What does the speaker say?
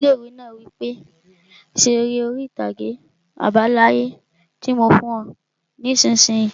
Ọgá ilé-ìwé náà wí pé 'Ṣe eré orí-ìtàgé àbá láyé tí mo fún ọ nisinyi!